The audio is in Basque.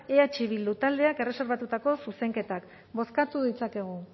eh bildu taldeak erreserbatutako zuzenketak bozkatu ditzakegu